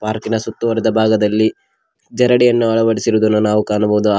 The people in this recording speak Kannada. ಪಾರ್ಕಿನ ಸುತ್ತುವರೆದ ಭಾಗದಲ್ಲಿ ಜರಡಿಯನ್ನು ಅಳವಡಿಸಿರುವುದನ್ನು ನಾವು ಕಾಣಬಹುದು ಆ--